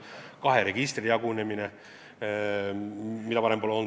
Edasi, kaheks registriks jagunemine, mida varem pole olnud.